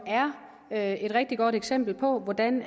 er et rigtig godt eksempel på hvordan